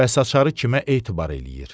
Bəs açarı kimə etibar eləyir?